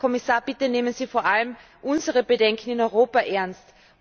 Herr Kommissar, bitte nehmen Sie vor allem unsere Bedenken in Europa ernst!